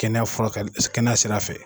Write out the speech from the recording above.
Kɛnɛya fura ka di , kɛnɛya sira fɛ.